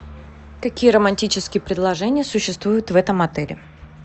какие романтические предложения существуют в этом отеле